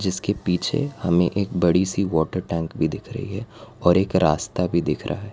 इसके पीछे हमें एक बड़ी सी वॉटर टैंक भी दिख रही है और एक रास्ता भी दिख रहा है।